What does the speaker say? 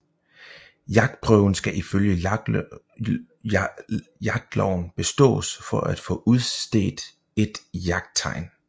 Jagtprøven skal ifølge jagtloven bestås for at få udstedt et jagttegn